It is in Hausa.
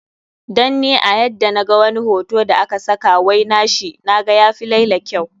Dan ni a yadda na ga wani hoto da a ka saka wai na shi, naga ya fi laila kyau.